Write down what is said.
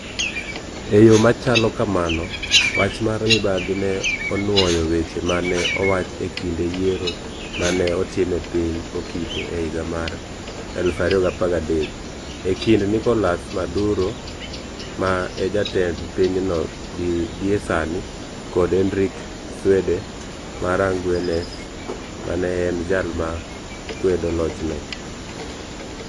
E yo ma chalo kamano, wach mar mibadhi ne onwoyo weche ma ne owach e kinde yiero ma ne otim e piny Okite e higa mar 2013 e kind Nicolás Maduro, ma e jatend pinyno gie sani, kod Henrique Cdwe mara ngwenes, ma ne en jal ma ne kwedo lochne: